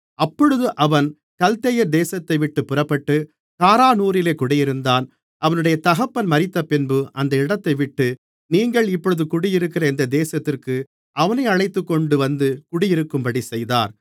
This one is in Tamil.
அப்பொழுது அவன் கல்தேயர் தேசத்தைவிட்டுப் புறப்பட்டு காரானூரிலே குடியிருந்தான் அவனுடைய தகப்பன் மரித்தபின்பு அந்த இடத்தைவிட்டு நீங்கள் இப்பொழுது குடியிருக்கிற இந்த தேசத்திற்கு அவனை அழைத்துக்கொண்டுவந்து குடியிருக்கும்படி செய்தார்